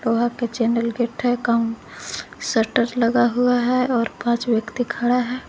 वहां के चैनल के शटर लगा हुआ है और पांच व्यक्ति खड़ा है।